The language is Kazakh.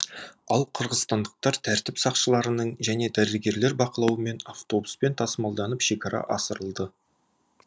ал қырғызстандықтар тәртіп сақшыларының және дәрігерлер бақылауымен автобуспен тасымалданып шекара асырылды